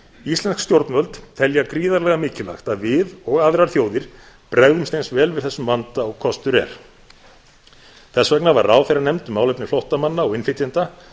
íslensk stjórnvöld telja gríðarlega mikilvægt að við og aðrar þjóðir bregðumst eins vel við þessum vanda og kostur er þess gegn var ráðherra nefnd um málefni flóttamanna og innflytjenda